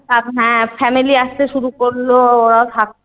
হ্যাঁ family আসতে শুরু করলো ওরা